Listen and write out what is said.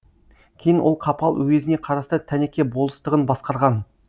кейін ол қапал уезіне қарасты тәнеке болыстығын басқарған